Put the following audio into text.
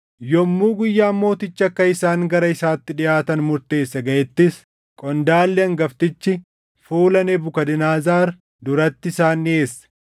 Yommuu guyyaan mootichi akka isaan gara isaatti dhiʼaatan murteesse gaʼettis, qondaalli hangaftichi fuula Nebukadnezar duratti isaan dhiʼeesse.